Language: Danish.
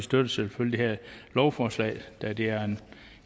støtter selvfølgelig det her lovforslag da det er